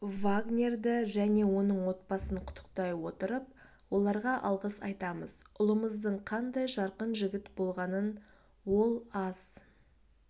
вагнерды және оның отбасын құттықтай отырып оларға алғыс айтамыз ұлымыздың қандай жарқын жігіт болғанын ол аз